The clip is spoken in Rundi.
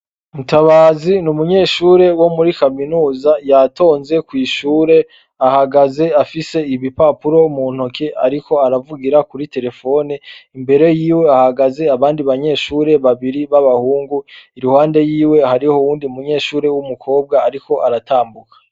Mutabazi n'umunyeshure wo muri kaminuza yatonze kwishure ahagaze afise ibipapuro muntoke ariko aravugira kuri terefone imbere yiwe hahagaze abandi banyeshure babiri babahungu iruhande yiwe hariho uwundi munyeshure w'umukobwa ariko aratambuka.